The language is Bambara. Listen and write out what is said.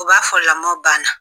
U b'a fɔ lamɔ banna.